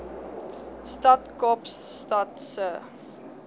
stad kaapstad se